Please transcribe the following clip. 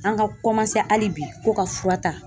An ka hali bi ko ka fura ta